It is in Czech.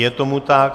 Je tomu tak.